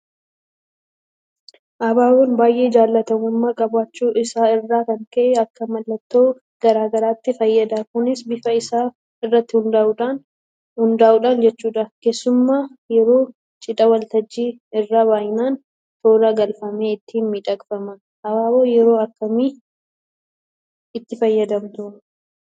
Abaaboon baay'ee jaalatamummaa qabaachuu isaa irraa kan ka'e akka mallattoo garaa garaatti fayyada. Kunis bifa isaa irratti hundaa'uudhaan jechuudha. Keessumaa yeroo cidhaa waltajjii irra baay'inaan toora galfamee ittiin miidhagfama. Abaaboo yeroo akkamii itti fayyadamtu?